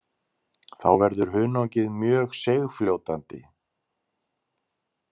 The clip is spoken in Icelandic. Þá verður hunangið mjög seigfljótandi.